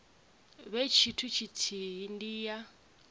vhe tshithu tshithihi ndi ya